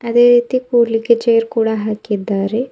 ಅದೇ ರೀತಿ ಕೂಡಲಿಕ್ಕೆ ಚೇರ್ ಕೂಡ ಹಾಕಿದ್ದಾರೆ.